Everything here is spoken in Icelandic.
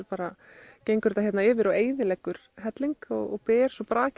gengur þetta yfir og eyðileggur helling og ber svo brakið